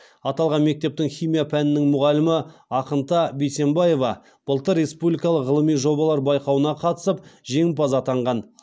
аталған мектептің химия пәнінің мұғалімі ақынта бисембиева былтыр республикалық ғылыми жобалар байқауына қатысып жеңімпаз атанған